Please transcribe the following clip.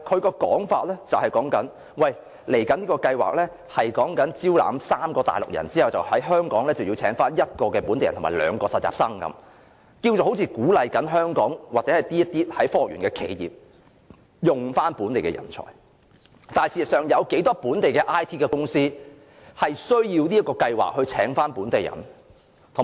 局長的說法是，這個計劃是在招攬3名內地專才後，便要在香港聘請1個本地人和2個實習生，好像在鼓勵科學園的企業使用本地人才，事實上有多少本地 IT 公司需要這個計劃來聘請本地人？